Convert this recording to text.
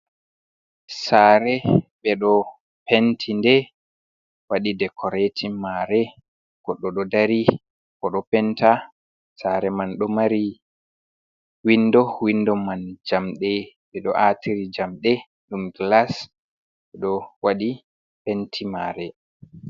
Saare ɓe ɗo penti nde waɗi dekoreetin maare goɗɗo ɗo dari koo ɗo penta, saare man ɗo mari winndo, winndo man jamɗe ɓe ɗo aatiri jamɗe ɗum gilas ɓe ɗo waɗi penti mare.